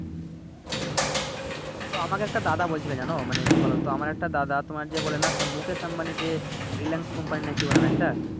তো আমাকে একটা দাদা বলছিলো জানো মানে কি বলতো আমার একটা দাদা তোমার যে বলেনা সে মুখেশ আম্বানি যে Reliance company নাকি Owner একটা